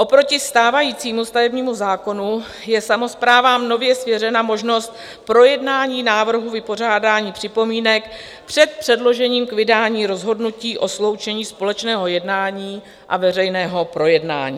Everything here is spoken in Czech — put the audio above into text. Oproti stávajícímu stavebnímu zákonu je samosprávám nově svěřena možnost projednání návrhů vypořádání připomínek před předložením k vydání rozhodnutí o sloučení společného jednání a veřejného projednání.